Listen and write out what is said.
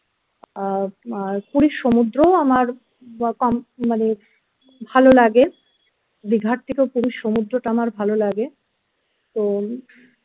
আহ আর puri র সমুদ্রও কম মানে ভালো লাগে দীঘার থেকেও পুরো সমুদ্রটা আমার ভালো লাগে তো